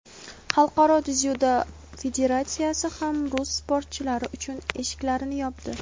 Xalqaro dzyudo federatsiyasi ham rus sportchilari uchun "eshiklarini" yopdi.